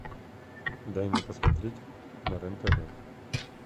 дай мне посмотреть на рен тв